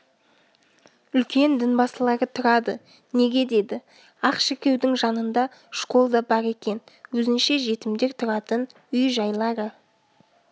үлкен дінбасылары тұрады неге деді ақ шіркеудің жанында школ да бар екен өзінше жетімдер тұратын үй-жайлары